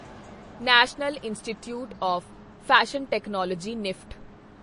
national institute of fashion technology NIFT